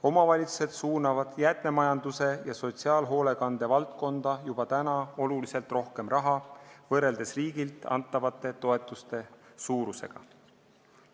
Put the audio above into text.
Omavalitsused suunavad jäätmemajanduse ja sotsiaalhoolekande valdkonda juba nüüd oluliselt rohkem raha võrreldes riigi antavate toetuste suurusega.